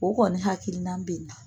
O kɔni hakilina bɛ na